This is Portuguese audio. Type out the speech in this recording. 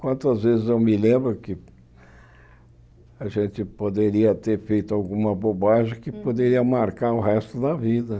Quantas vezes eu me lembro que a gente poderia ter feito alguma bobagem que poderia marcar o resto da vida.